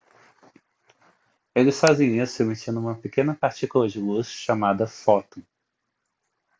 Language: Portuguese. eles fazem isso emitindo uma pequena partícula de luz chamada fóton